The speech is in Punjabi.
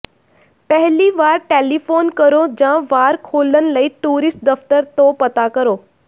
ਪਹਿਲੀ ਵਾਰ ਟੈਲੀਫੋਨ ਕਰੋ ਜਾਂ ਵਾਰ ਖੋਲ੍ਹਣ ਲਈ ਟੂਰਿਸਟ ਦਫਤਰ ਤੋਂ ਪਤਾ ਕਰੋ